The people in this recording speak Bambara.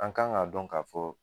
An kan ka dɔn ka fɔ